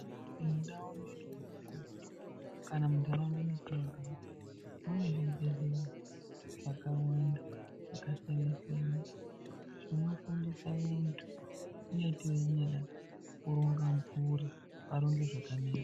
Mundau medu kana muntaraunda mwetinogara mune zvibhehleya zvakawanda, zvakasiyana-siyana zvinofundisa vantu kunyati weinyada kuronga mburi, varonge zvakanaka.